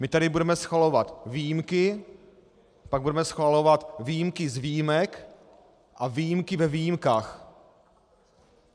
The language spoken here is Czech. My tady budeme schvalovat výjimky, pak budeme schvalovat výjimky z výjimek a výjimky ve výjimkách.